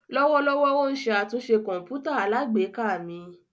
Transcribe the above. Lọwọlọwọ o n ṣe atunṣe kọǹpútà alágbèéká mi.